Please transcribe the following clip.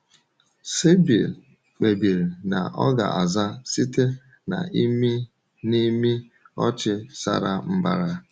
Sybil kpebiri na ọ ga-aza site um n’ịmị n’ịmị ọchị sara mbara.